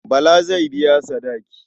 Bala zai biya sadaki.